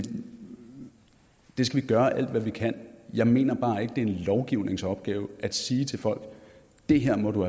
gøre alt hvad vi kan jeg mener bare ikke det er en lovgivningsopgave at sige til folk det her må du